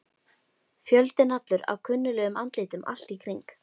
Fjöldinn allur af kunnuglegum andlitum allt í kring.